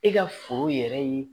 E ka foro yɛrɛ ye